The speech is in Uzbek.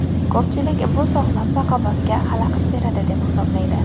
Ko‘pchilik bu sog‘lom raqobatga xalaqit beradi deb hisoblaydi.